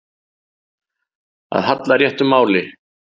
Að halla réttu máli